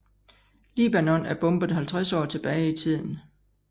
Libanon er bombet 50 år tilbage i tiden